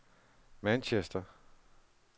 Manchester